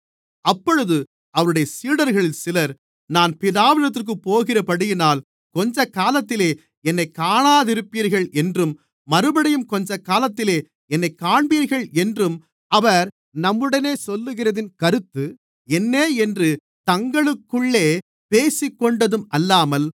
அப்பொழுது அவருடைய சீடர்களில் சிலர் நான் பிதாவினிடத்திற்குப் போகிறபடியினால் கொஞ்சக்காலத்திலே என்னைக் காணாதிருப்பீர்கள் என்றும் மறுபடியும் கொஞ்சக்காலத்திலே என்னைக் காண்பீர்கள் என்றும் அவர் நம்முடனே சொல்லுகிறதின் கருத்து என்ன என்று தங்களுக்குள்ளே பேசிக்கொண்டதும் அல்லாமல்